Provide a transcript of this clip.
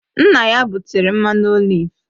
Nna ya butere mmanụ oliv